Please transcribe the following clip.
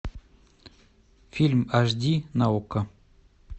фильм аш ди на окко